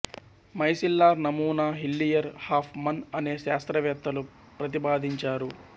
micellar నమూనా Hillier Hofmann అనే శాస్త్రవేత్తలు ప్రతిపాదించారు